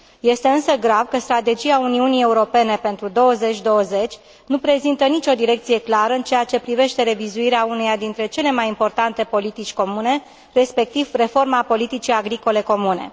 Este însă grav că Strategia Uniunii Europene pentru 2020 nu reprezintă nicio direcție clară în ceea ce privește revizuirea uneia dintre cele mai importante politici comune, respectiv reforma politicii agricole comune.